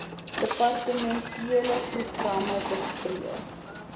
departementele programme bespreek